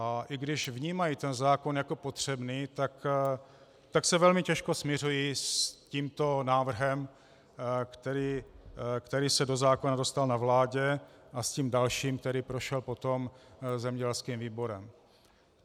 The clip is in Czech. A i když vnímají ten zákon jako potřebný, tak se velmi těžko smiřují s tímto návrhem, který se do zákona dostal na vládě, a s tím dalším, který prošel potom zemědělským výborem.